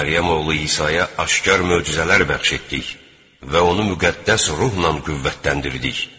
Məryəm oğlu İsaya aşkar möcüzələr bəxş etdik və onu müqəddəs ruhla qüvvətləndirdik.